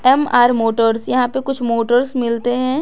MR motors यहां पे कुछ मोटर्स मिलते हैं।